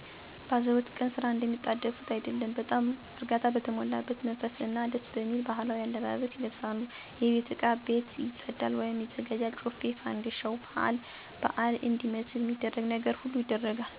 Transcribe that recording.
በአዘቦት ቀን ስራ እንደሚጣደፉት አይደለም በጣም እርጋታ በተሞላበት መንፈስ እና ደስየሚል ባህላዊ አለባበስ ይለብሳሉ የቤት እቃ ቤት ይፀዳል/ይዘጋጃል ጮፌው ፋንድሻው ባአል ባአል እንዲመስል ሚደረግ ነገር ሁሉ ይደረጋል። ከዛ በኋላ ለብአሉ የተጠራው ሰው ሲመጣ እነሱም ያዘጋጁትን ያቀርባሉ ይበላል ይጠጣል እየሳቁ እየተጫወቱ በመደሰት ባአላቸውን ያከብራሉ።